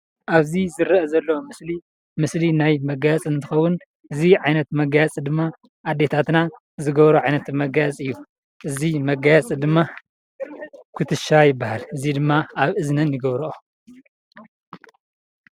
ኣብ ዝረአ ዘሎ ምስሊ ምስሊ ናይ መጋየፂ እንትኸውን እዚ ዓይነት መጋየፂ ድማ ኣዴታትና ዝገብርኦ ዓይነት መጋየፂ እዩ፡፡ እዚ መጋየፂ ድማ ኩትሻ ይባሃል፡፡ እዚ ድማ ኣብ እዝነን ይገብርኦ፡፡